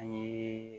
An ye